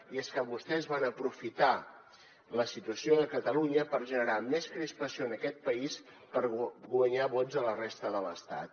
i és que vostès van aprofitar la situació de catalunya per generar més crispació en aquest país i per guanyar vots a la resta de l’estat